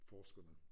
Forskerne